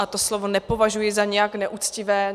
A to slovo nepovažuji za nějak neuctivé.